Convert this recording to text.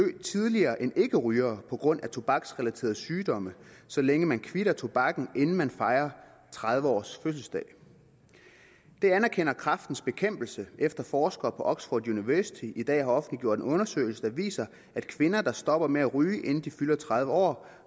tidligere end ikkerygere på grund af tobaksrelaterede sygdomme så længe man kvitter tobakken inden man fejrer tredive års fødselsdag det anerkender kræftens bekæmpelse efter forskere på oxford university i dag har offentliggjort en undersøgelse der viser at kvinder der stopper med at ryge inden de fylder tredive år